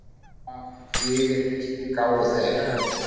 Þessvegna yfirgáfu þeir